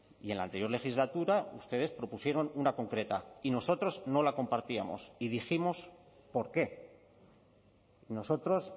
y en la anterior legislatura ustedes propusieron una concreta y nosotros no la compartíamos y dijimos por qué nosotros